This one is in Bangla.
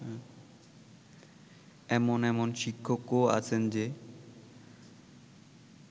এমন এমন শিক্ষকও আছেন যে